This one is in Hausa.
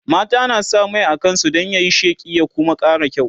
mata na sa Mai a kansu Dan yayi sheƙi ya Kuma ƙara kyau